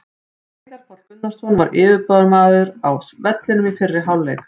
Veigar Páll Gunnarsson var yfirburðamaður á vellinum í fyrri hálfleik.